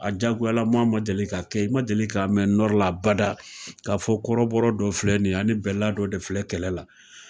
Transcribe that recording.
A jagoyalama ma deli ka kɛ i ma deli k'a mɛ la abada k'a fɔ kɔrɔbɔ dɔ filɛ nin ani bɛla dɔ de filɛ kɛlɛ la